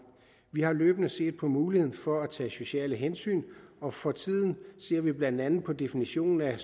vi har løbende set på muligheden for at tage sociale hensyn og for tiden ser vi blandt andet på definitionen af